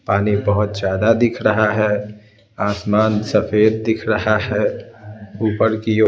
पानी बहुत ज्यादा दिख रहा है आसमान सफेद दिख रहा है ऊपर की ओर--